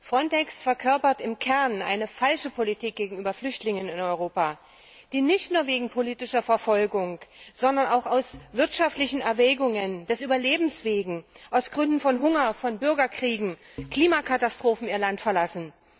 FRONTEX verkörpert im Kern eine falsche Politik gegenüber Flüchtlingen in Europa, die nicht nur wegen politischer Verfolgung, sondern auch aus wirtschaftlichen Erwägungen, des Überlebens wegen, aus Gründen von Hunger, Bürgerkriegen, Klimakatastrophen ihr Land verlassen.